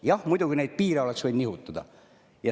Jah, muidugi, neid piire oleks võinud nihutada.